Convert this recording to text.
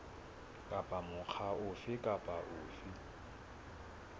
kapa mokga ofe kapa ofe